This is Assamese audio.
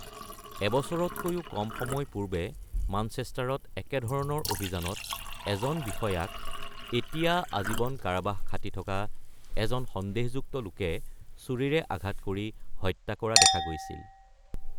এবছৰতকৈও কম সময় পূৰ্বে মানচেষ্টাৰত একেধৰণৰ অভিযানত এজন বিষয়াক এতিয়া আজীৱন কাৰাবাস খাটি থকা এজন সন্দেহযুক্ত লোকে ছুৰীৰে আঘাত কৰি হত্যা কৰা দেখা গৈছিল।